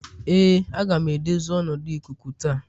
Ee aga m edozi ọnọdụ ikuku taa